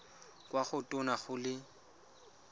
kwa go tona go le